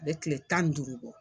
A bɛ kile tan ni duuru bɔ.